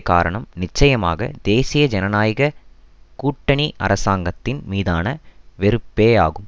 காரணம் நிச்சயமாக தேசிய ஜனநாயக கூட்டணி அரசாங்கத்தின் மீதான வெறுப்பேயாகும்